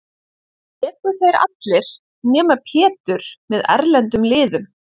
Léku þeir allir, nema Pétur, með erlendum liðum.